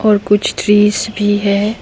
और कुछ ट्रीज भी हैं।